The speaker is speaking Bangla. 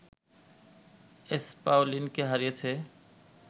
এসপাওনিলকে হারিয়েছে